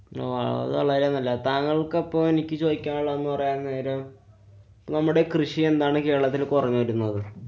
അഹ് അത് വളരെ നല്ലതാ. താങ്കള്‍ക്കപ്പോള്‍ എനിക്ക് ചോദിക്കാനുള്ളത് ന്നു പറയാന്‍ നേരം നമ്മുടെ കൃഷി എന്താണ് കേരളത്തില്‍ കുറഞ്ഞു വരുന്നത്?